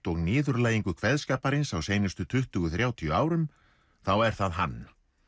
og niðurlægingu kveðskaparins á seinustu tuttugu til þrjátíu árum þá er það hann